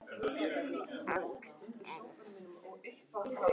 Þjálfari: Gunnar Oddsson.